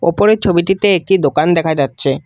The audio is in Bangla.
উপরের ছবিটিতে একটি দোকান দেখা যাচ্ছে।